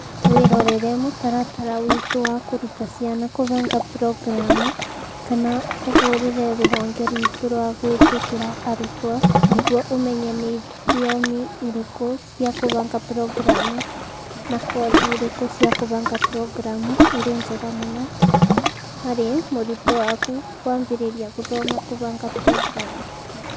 Wĩrorere mũtaratara witũ wa kũruta ciana kũbanga programu kana ũhũrĩre rũhonge rwitũ rwa gwĩtĩkĩra arutwo nĩguo ũmenye nĩ thiomi irĩkũ cia kũbanga programu na kothi irĩkũ cia kũbanga programu irĩ njega mũno harĩ mũrutwo waku kwambĩrĩria gũthoma kũbanga programu!